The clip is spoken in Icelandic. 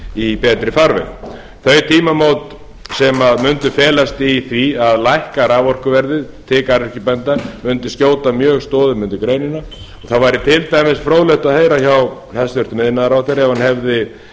í betri farveg þau tímamót sem mundu felast í því að lækka raforkuverðið til garðyrkjubænda mundu skjóta mjög stoðum undir greinina það væri til dæmis fróðlegt að heyra hjá hæstvirtur iðnaðarráðherra ef hann hefði